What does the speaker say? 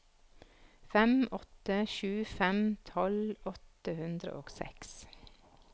fem åtte sju fem tolv åtte hundre og seks